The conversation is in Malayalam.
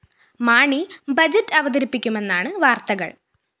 മാണി ബഡ്ജറ്റ്‌ അവതരിപ്പിക്കുമെന്നാണ് വാര്‍ത്തകള്‍